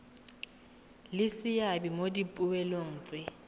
le seabe mo dipoelong tse